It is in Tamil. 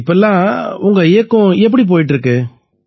இப்பவெல்லாம் உங்க இயக்கம் எப்படி போயிட்டு இருக்கு